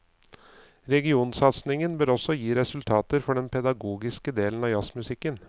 Regionsatsingen bør også gi resultater for den pedagogiske delen av jazzmusikken.